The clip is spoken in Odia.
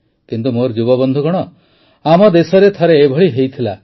କିନ୍ତୁ ମୋର ଯୁବବନ୍ଧୁଗଣ ଆମ ଦେଶରେ ଥରେ ଏଭଳି ହୋଇଥିଲା